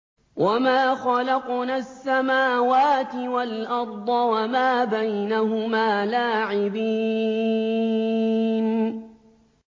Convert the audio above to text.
وَمَا خَلَقْنَا السَّمَاوَاتِ وَالْأَرْضَ وَمَا بَيْنَهُمَا لَاعِبِينَ